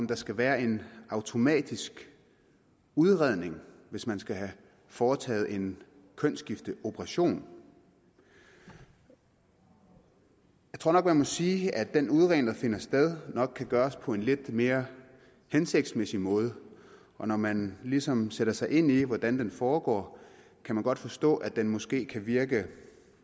der skal være en automatisk udredning hvis man skal have foretaget en kønsskifteoperation jeg tror nok man må sige at den udredning der finder sted nok kan gøres på en lidt mere hensigtsmæssig måde og når man ligesom sætter sig ind i hvordan den foregår kan man godt forstå at den måske kan virke